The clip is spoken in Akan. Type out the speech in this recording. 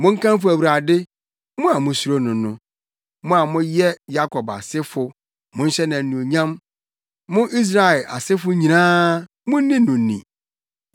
Monkamfo Awurade, mo a musuro no no! Mo a moyɛ Yakob asefo, monhyɛ no anuonyam! Mo Israel asefo nyinaa, munni no ni!